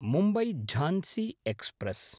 Mumbai Jhansi express